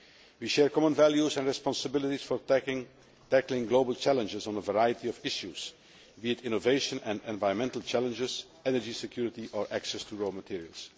we share common values and responsibilities for tackling global challenges on a variety of issues, be it innovation or environmental challenges, energy security or access to raw materials.